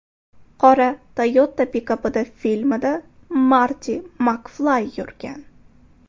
Qora Toyota pikapida filmda Marti MakFlay yurgan.